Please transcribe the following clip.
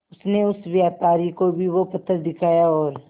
उनसे उस व्यापारी को भी वो पत्थर दिखाया और